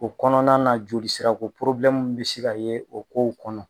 O kɔnɔna na joli sira ko porobilɛmu bi se ka ye o kow kɔnɔ